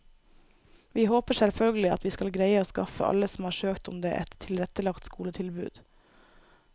Vi håper selvfølgelig at vi skal greie å skaffe alle som har søkt om det, et tilrettelagt skoletilbud.